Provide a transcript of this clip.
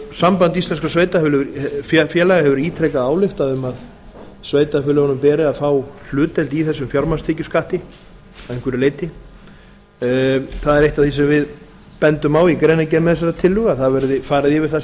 samband íslenskum sveitarfélaga hefur ítrekað ályktað um að sveitarfélögunum beri að fá hlutdeild í þessum fjármagnstekjuskatti að einhverju leyti það er eitt af því sem við bendum á í greinargerð með þessari tillögu að það verði farið yfir það